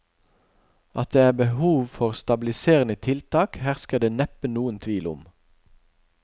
At det er behov for stabiliserende tiltak, hersker det neppe noen tvil om.